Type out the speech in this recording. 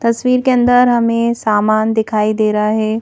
तस्वीर के अंदर हमें सामान दिखाई दे रहा है।